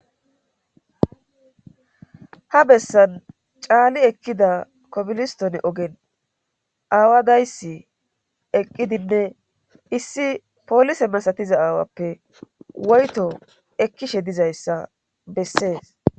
ha bessan caali ekkida kobilistone ogen aawa dayssi eqqidinne issi polise masatiza aawappe woyto ekkishe dizayssa bessees